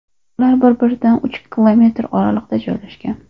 Ular bir-biridan uch kilometr oraliqda joylashgan.